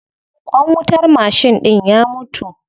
Ƙwan wutar mashin ɗin ya mutu.